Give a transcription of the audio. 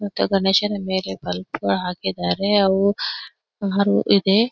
ಮತ್ತೆ ಗಣೇಶನ ಮೇಲೆ ಬಲ್ಬ್ಗಳು ಹಾಕಿದಾರೆ ಅವು ಹಾವು ಇದೆ.